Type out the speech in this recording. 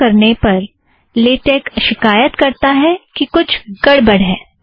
संचय करने पर लेटेक शिकायत करता है कि कुछ गड़बड़ है